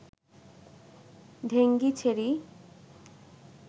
ঢেঙ্গি ছেড়ি